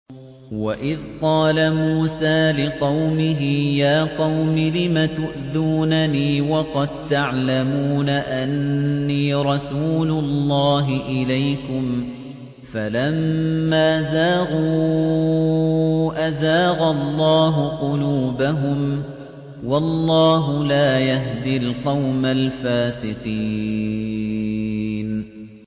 وَإِذْ قَالَ مُوسَىٰ لِقَوْمِهِ يَا قَوْمِ لِمَ تُؤْذُونَنِي وَقَد تَّعْلَمُونَ أَنِّي رَسُولُ اللَّهِ إِلَيْكُمْ ۖ فَلَمَّا زَاغُوا أَزَاغَ اللَّهُ قُلُوبَهُمْ ۚ وَاللَّهُ لَا يَهْدِي الْقَوْمَ الْفَاسِقِينَ